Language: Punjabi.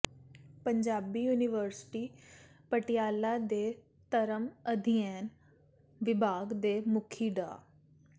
ਪੰਜਾਬੀ ਯੂਨੀਵਰਸਿਟੀ ਪਟਿਆਲਾ ਦੇ ਧਰਮ ਅਧਿਐਨ ਵਿਭਾਗ ਦੇ ਮੁਖੀ ਡਾ